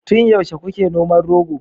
tun yaushe kuke noman rogo